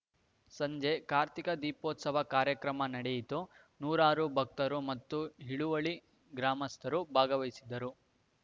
ಸಂಜೆ ಕಾರ್ತಿಕ ದೀಪೋತ್ಸವ ಕಾರ್ಯಕ್ರಮ ನಡೆಯಿತು ನೂರಾರು ಭಕ್ತರು ಮತ್ತು ಹಿಳುವಳ್ಳಿ ಗ್ರಾಮಸ್ಥರು ಭಾಗವಹಿಸಿದ್ದರು